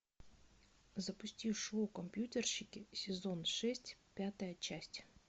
запусти шоу компьютерщики сезон шесть пятая часть